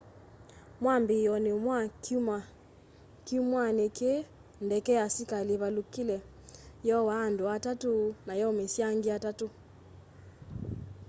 mwambiioni wa kyumwani kii ndeke ya asikali ivalukile yoaa andu atatu na yaumisya angi atatu